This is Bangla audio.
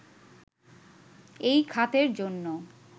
এই খাতের জন্য